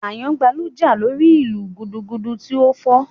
Àyàngbáàlù jà lórí ìlù gudugudu tí ó fọ́